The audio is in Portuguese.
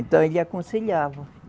Então, ele aconselhava.